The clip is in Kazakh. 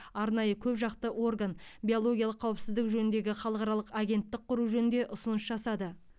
арнайы көп жақты орган биологиялық қауіпсіздік жөніндегі халықаралық агенттік құру жөнінде ұсыныс жасады